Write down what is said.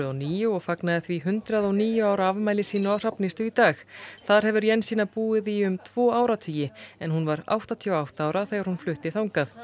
níu og fagnaði því hundrað og níu ára afmæli sínu á Hrafnistu í dag þar hefur Jensína búið í um tvo áratugi en hún var áttatíu og átta ára þegar hún flutti þangað